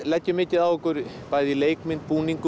leggjum mikið á okkur bæði í leikmynd búningum